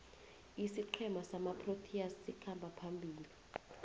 isiqhema samaproteas sikhamba phambili